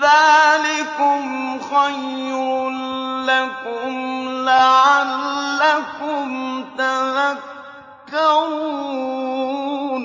ذَٰلِكُمْ خَيْرٌ لَّكُمْ لَعَلَّكُمْ تَذَكَّرُونَ